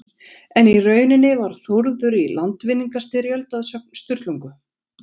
En í rauninni var Þórður í landvinningastyrjöld að sögn Sturlungu.